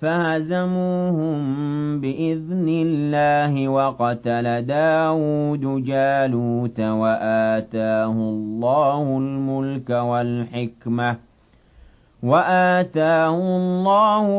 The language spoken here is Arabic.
فَهَزَمُوهُم بِإِذْنِ اللَّهِ وَقَتَلَ دَاوُودُ جَالُوتَ وَآتَاهُ اللَّهُ